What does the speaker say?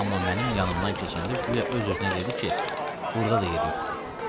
Amma mənim yanımdan keçəndə güya öz-özünə dedi ki, burda da yer yoxdur.